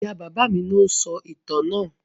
Ìyá-bàbá mi ni ó ń sọ ìtàn náà.